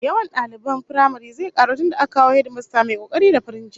Yawan daliban firamaren zai karu tunda aka kawo hedimasta mai kokari da farin jini